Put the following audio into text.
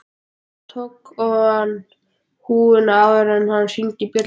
Hann tók ofan húfuna áður en hann hringdi bjöllunni